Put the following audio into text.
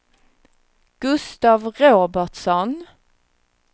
Gustaf Robertsson